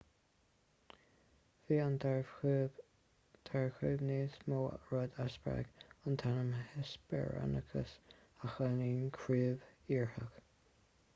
bhí an dara chrúb níos mó rud a spreag an t-ainm hesperonychus a chiallaíonn crúb iartharach